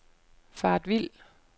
faret vild